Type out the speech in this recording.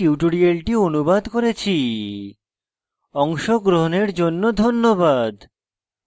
অংশগ্রহনের জন্য ধন্যবাদ